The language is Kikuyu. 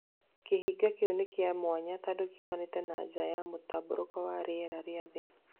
Kĩhiga kĩu nĩ kĩa mwanya tondũ kiumanĩte na nja ya mũtambũrũko wa rĩera rĩa thĩ